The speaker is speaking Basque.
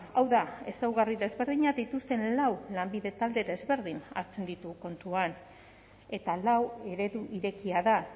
hau da ezaugarri desberdinak dituzten lau lanbide talde ezberdin hartzen ditu kontuan eta lau eredu irekia da